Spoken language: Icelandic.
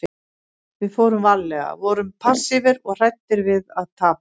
Við fórum varlega, vorum passífir og hræddir við að tapa.